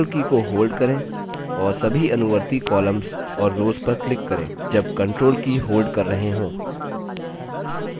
control की को hold करें और सभी अनुवर्ती columns और रोव्स पर click करें जब control की hold कर रहे hold